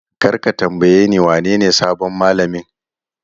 Kar ka tambayeni wanene sabon mallamin!